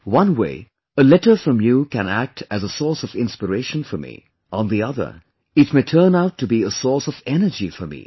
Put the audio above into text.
One way, a letter from you can act as a source of inspiration for me; on the other it may turn out to be a source of energy for me